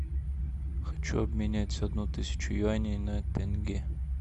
хочу обменять одну тысячу юаней на тенге